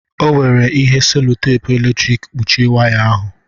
O were ihe sèlotèpu eletrik kpuchie waya ahụ